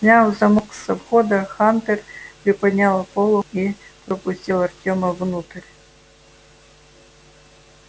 сняв замок со входа хантер приподнял полог и пропустил артёма внутрь